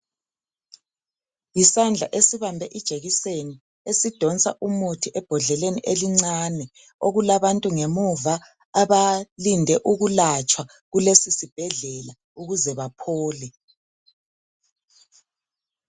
Yisandla esibambe ijekiseni esidonsa umuthi ebhodleleni elincane okulabantu ngemuva abalinde ukulatshwa kulesi sibhedlela ukuze baphole.